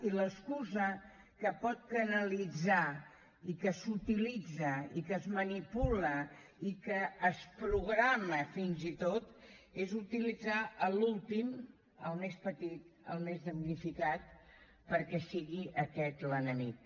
i l’excusa que pot canalitzar i que s’utilitza i que es manipula i que es programa fins i tot és utilitzar l’últim el més petit el més damnificat perquè sigui aquest l’enemic